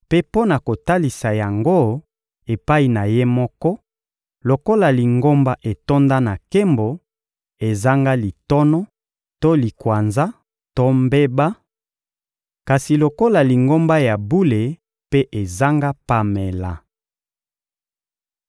mpe mpo na kotalisa yango epai na Ye moko lokola Lingomba etonda na nkembo, ezanga litono to likwanza to mbeba, kasi lokola Lingomba ya bule mpe ezanga pamela.